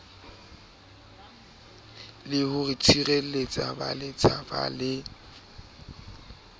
le ho tshireletsa baletsaphala le